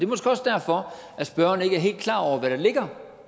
måske også derfor at spørgeren ikke er helt klar over hvad der ligger